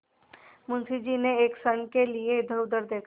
मुंशी जी ने एक क्षण के लिए इधरउधर देखा